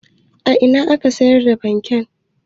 A ina ne ake sayar da fanke?